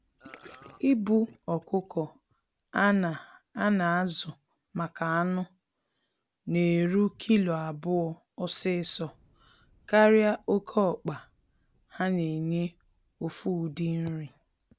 Ịbụ ọkụkọ a na a na azụ maka anụ na-eru kilo abụọ ọsịsọ karịa oke ọkpa ha na enye ofu ụdị nri.